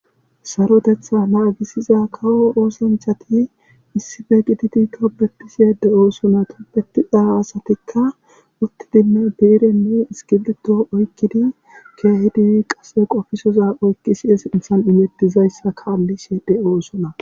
Sarotetha naagisiza kawo oosanchati issippe gididi tobetishe de'oosona. tobetiza asatikka uttidinne biirenne iskibirito oykkid keehidi qasse qofisiza issi sinthan imetizaysata kaalishe bee'ide dosona.